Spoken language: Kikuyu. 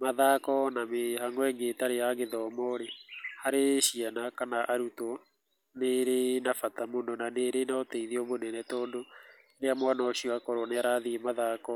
Mathako na mĩhang'o ĩngĩ ĩtarĩ ya gĩthomo rĩ, harĩ ciana kana arutwo, nĩ ĩrĩ na bata mũno, na nĩrĩ na ũteithio mũnene, tondũ rĩrĩa mwana ũcio akorwo nĩ arathiĩ mathako,